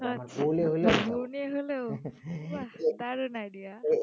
দারুন idea